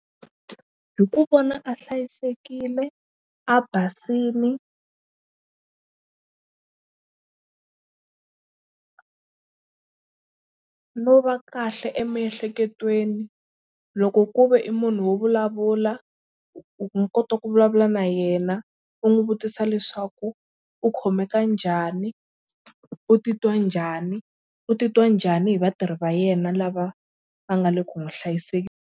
Hi ku vona a hlayisekile a basini no va kahle emiehleketweni loko ku ve i munhu wo vulavula u kota ku vulavula na yena u n'wi vutisa leswaku u khomeka njhani u titwa njhani u titwa njhani hi vatirhi va yena lava va nga le ku n'wi .